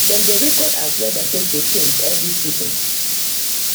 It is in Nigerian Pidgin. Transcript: dem dey record as weather take dey change every season.